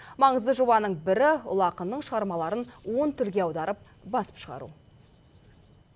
маңызды жобаның бірі ұлы ақынның шығармаларын он тілге аударып басып шығару